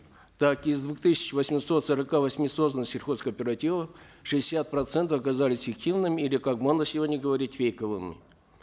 так из двух тысяч восьмисот сорока восьми созданных сельхозкооперативов шестьдесят процентов оказались фиктивными или как модно сегодня говорить фейковыми